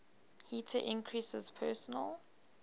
heater increases personal